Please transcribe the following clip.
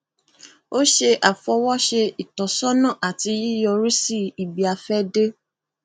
ó ṣe àfọwọṣe ìtọsọnà àti yíyọrísí ibiàfẹdé